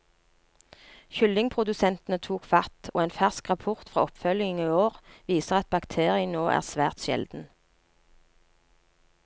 Kyllingprodusentene tok fatt, og en fersk rapport fra oppfølging i år viser at bakterien nå er svært sjelden.